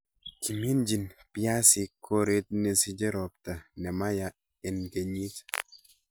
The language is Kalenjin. Kiminjin piasinik koret nesiche ropta nemaya en kenyit.